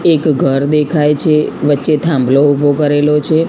એક ઘર દેખાય છે વચ્ચે થાંભલો ઉભો કરેલો છે.